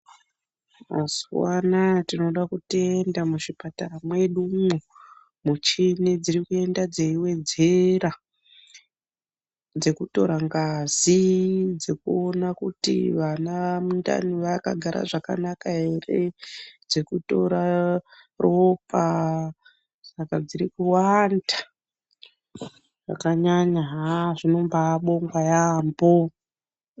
Mazuwa anaya tinoda kutenda muzvipatara mwedumwo. Muchini dziri kuenda dzeiwedzera. Dzekutora ngazi, dzekuona kuti vana mundani vakagara zvakanaka here, dzekutora ropa, saka dziri kuwanda zvakanyanya. Haa zvinombabongwa yaambo.